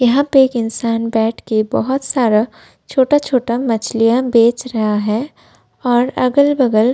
यहाँ पे एक इंसान बैठ के बहुत सारा छोटा-छोटा मछलियां बेच रहा है और अगल-बगल --